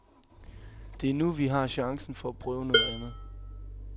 Det er nu, vi har chancen for at prøve noget andet.